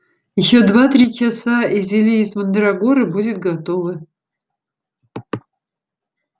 ещё два-три часа и зелье из мандрагоры будет готово